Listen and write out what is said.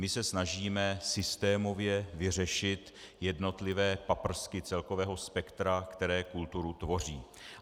My se snažíme systémově vyřešit jednotlivé paprsky celkového spektra, které kulturu tvoří.